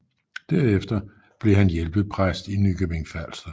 Derefter blev han hjælpepræst i Nykøbing Falster